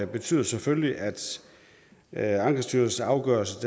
betyder selvfølgelig at ankestyrelsens afgørelse